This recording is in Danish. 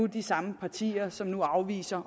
de samme partier som nu afviser